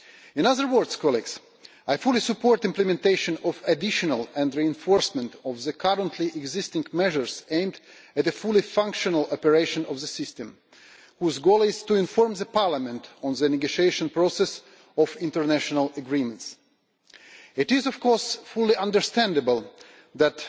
In other words, I fully support the implementation of additional and the reinforcement of the currently existing measures aimed at a fully functional operation of the system, whose goal is to inform Parliament on the negotiation process of international agreements. It is, of course, fully understandable that,